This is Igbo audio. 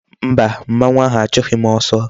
Mba, mmanwu ahu a chughi m oso